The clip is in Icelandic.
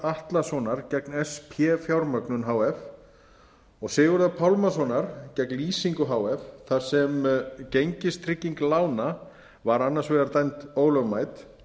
atlasonar gegn sp fjármögnun h f og sigurðar pálmasonar gegn lýsingu h f þar sem gengistrygging lána var annars vegar dæmd ólögmæt